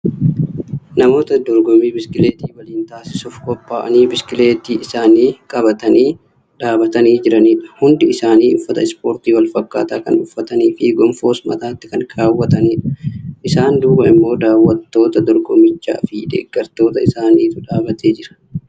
Namoota dorgommii biskileetii waliin taasisuuf qophaa'anii biskileetii isaanii qabatanii dhaabatanii jiranidha. Hundi isaanii uffata ispoortii walfakkaataa kan uffataniifi goonfoos mataatti kan kaawwatanidha. Isaan duuba immoo daawwattoota dorgommichaafi deeggartoota isaaniitu dhaabatee jira.